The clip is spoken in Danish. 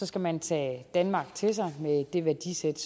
skal man tage danmark til sig med det værdisæt